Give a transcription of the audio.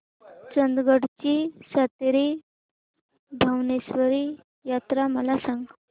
चंदगड ची सातेरी भावेश्वरी यात्रा मला सांग